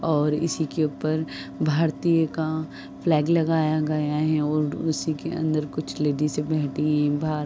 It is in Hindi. और इसके ऊपर भारतीयो का फ्लैग लगाया गया है और उसी के अंदर कुछ लेडिसे बैठी बा --